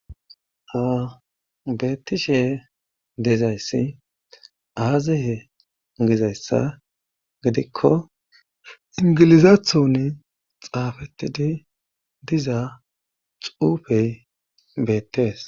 Awa beettishshe dezayssi aaze mugizayssa gidikko ingilizaaththoni xaafetidi diza xuufey beettees